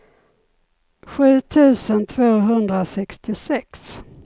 sju tusen tvåhundrasextiosex